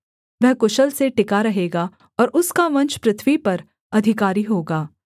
वह कुशल से टिका रहेगा और उसका वंश पृथ्वी पर अधिकारी होगा